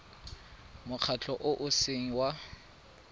mokgatlho o o seng wa